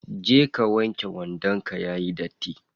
Je ka wanke wandon ka yayi datti.